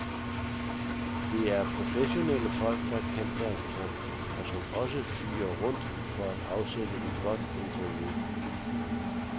Det er professionelle folk, der kan deres kram, og som også fyger rundt for at afsætte et godt interview.